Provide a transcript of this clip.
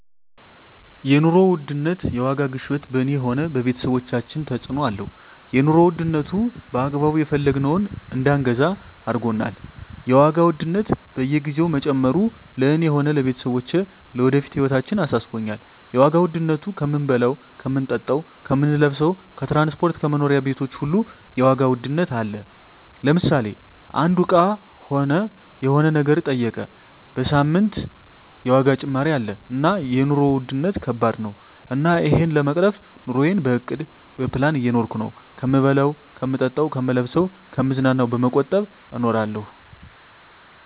የኑሮ ውድነት የዋጋ ግሽበት በኔ ሆነ በቤተሰቦቻችን ተጽእኖ አለው የኑሮ ዉድነቱ በአግባቡ የፈለግነውን እዳንገዛ አርጎናል የዋጋ ውድነት በየግዜው መጨመሩ ለእኔ ሆነ ለቤተሰቦቸ ለወደፊት ህይወታችን አሳስቦኛል የዋጋ ዉድነቱ ከምንበላው ከምንጠጣው ከምንለብሰው ከትራንስፖርት ከመኖሪያ ቤቶች ሁሉ የዋጋ ውድነት አለ ለምሳሌ አንዱ እቃ ሆነ የሆነ ነገር ጠይቀ በሳምንት የዋጋ ጭማሪ አለ እና የኖሩ ዉድነት ከባድ ነው እና እሄን ለመቅረፍ ኑረየን በእቅድ በፕላን እየኖርኩ ነው ከምበላው ከምጠጣ ከምለብሰው ከምዝናናው በመቆጠብ እኖራለሁ